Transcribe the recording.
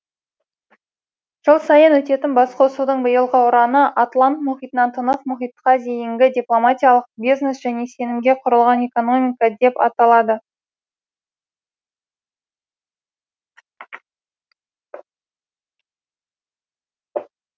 жыл сайын өтетін басқосудың биылғы ұраны атлант мұхитынан тынық мұхитқа дейінгі дипломатиялық бизнес және сенімге құрылған экономика деп аталады